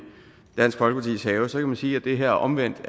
dansk folkepartis have så kan man sige at det her omvendt